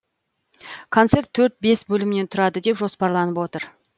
концерт төрт бес бөлімнен тұрады деп жоспарланып отыр